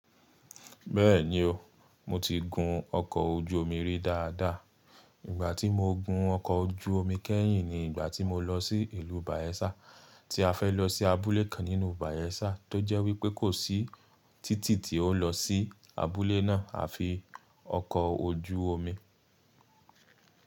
Bẹ́ẹ̀ni o, mo ti gun ọkọ̀ ojú omi rí dáadáa. Ìgbà tí mo gun ọkọ̀ ojú omi kẹ́yìn ni ìgbà tí mo lọ sí ìlú Bayelsa, tí a fẹ́ lọ sí abúlé kan nínú Bayelsa tó jẹ́ wípé kò sí títì tí ó n lọ sí abúlé náà àfi ọkọ̀ ojú omi.